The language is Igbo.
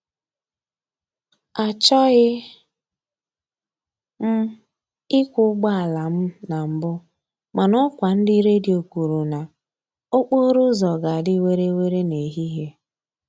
Achọghị m ịkwọ ụgbọala m na mbụ, mana ọkwa ndị redio kwuru na okporo ụzọ ga-adị were were n'ehihie